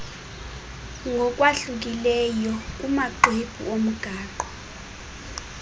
ngokwahlukileyo kumaxwebhu omgaqo